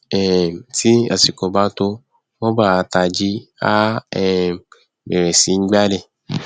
um tí àsìkò bá tó roomba a tají á um bẹrẹ sí í gbálẹ